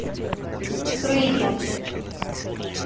крылья